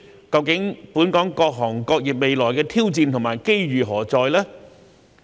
究竟本地各行各業未來的挑戰和機遇何在呢？